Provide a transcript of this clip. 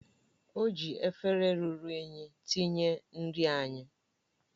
O ji efere ruru unyi tinye nri anyị